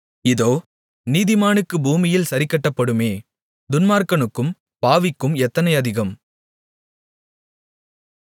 இதோ நீதிமானுக்கு பூமியில் சரிக்கட்டப்படுமே துன்மார்க்கனுக்கும் பாவிக்கும் எத்தனை அதிகம்